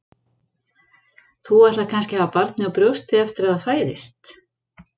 Þú ætlar kannski að hafa barnið á brjósti eftir að það fæðist?